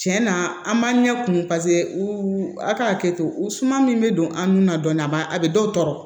Tiɲɛ na an b'an ɲɛ kumu paseke u ka hakɛ to u suma min bɛ don an nun na dɔɔni a b'a a bɛ dɔw tɔɔrɔ